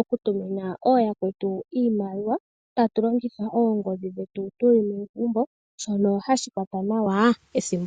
okutumina ooyakwetu iimaliwa tatu longitha oongodhi dhetu tu li momagumbo, shono hashi kwata nawa ethimbo.